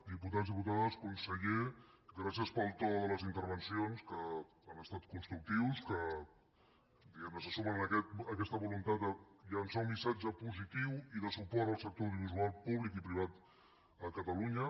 diputats diputades conseller gràcies pel to de les intervencions que han estat constructives que diguem ne se sumen a aquesta voluntat de llançar un missatge positiu i de suport al sector audiovisual públic i privat a catalunya